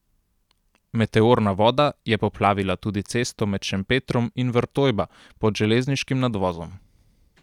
Meteorna voda je poplavila tudi cesto med Šempetrom in Vrtojba pod železniškim nadvozom.